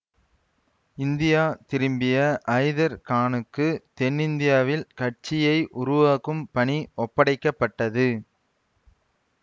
India திரும்பிய ஐதர் கானுக்கு தென்னிந்தியாவில் கட்சியை உருவாக்கும் பணி ஒப்படைக்க பட்டது